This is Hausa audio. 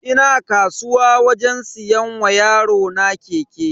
Ina kasuwa wajen siyan wa yarona keke.